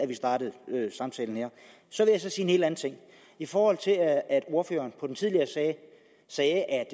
vi startede samtalen her så vil jeg helt anden ting i forhold til at ordføreren på den tidligere sag sagde at